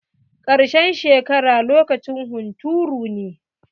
Karshen shekara lokacin hunturu ne.